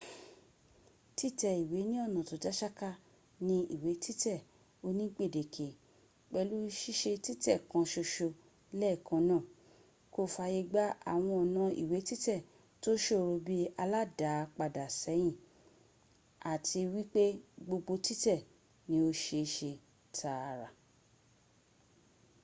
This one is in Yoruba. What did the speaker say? títẹ ìwẹ́ ní ọ̀nà tọ dánsáká ni ìwẹ́ títẹ̀ oni gbẹ̀dẹ́kẹ pèlú sísẹ títè kan ṣoṣo lèèkàn náà kò fàyàgbà àwọn ọ̀nà ìwẹ títẹ̀ tọ ṣòro bi aládáàpadàsẹ́yìn áti wípé gbogbo títẹ̀ ni o sẹẹsẹ tààrà